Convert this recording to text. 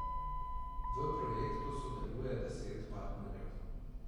V projektu sodeluje deset partnerjev.